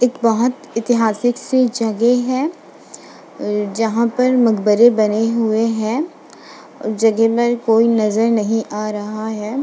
एक बहोत ऐतिहासिक सी जगह है जहां पर मकबरे बने हुए हैं जगह पर कोई नज़र नहीं आ रहा है।